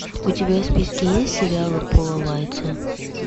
у тебя в списке есть сериалы пола уайтса